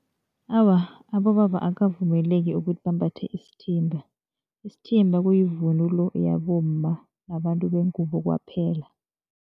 Awa abobaba akukavumeleki ukuthi bambathe isithimba. Isithimba kuyivunulo yabomma babantu bengubo kwaphela.